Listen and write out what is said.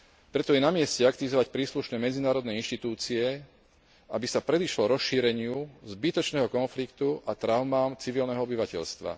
Preto je na mieste aktivizovať príslušné medzinárodné inštitúcie, aby sa predišlo rozšíreniu zbytočného konfliktu a traumám civilného obyvateľstva.